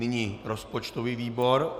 Nyní rozpočtový výbor.